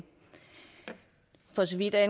vi er